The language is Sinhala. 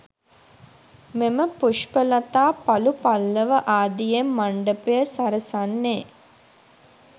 මෙම පුෂ්පලතා පලු පල්ලව ආදියෙන් මණ්ඩපය සරසන්නේ